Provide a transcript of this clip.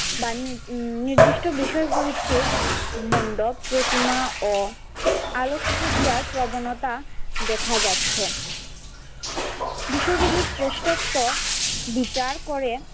নির্দিষ্ট বিষয় প্রবৃত্তিক মন্ডপ প্রতিমা ও আলোকসজ্জার প্রবণতা দেখা যাচ্ছে বিষয় গুলির শ্রেষ্ঠত্ব বিচার করে।